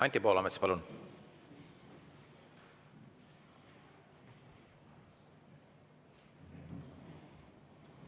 Anti Poolamets, palun!